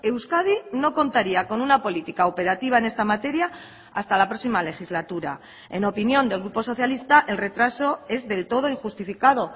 euskadi no contaría con una política operativa en esta materia hasta la próxima legislatura en opinión del grupo socialista el retraso es del todo injustificado